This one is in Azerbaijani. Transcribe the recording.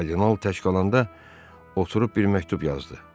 Kardinal təşqalandan oturub bir məktub yazdı.